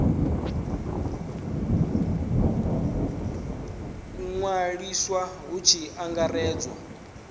u ṅwaliswa hu tshi angaredzwa